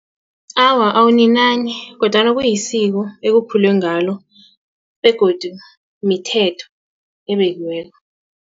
Awa, awuninani kodwana kuyisiko ekukhulwe ngalo begodu mithetho ebekiweko.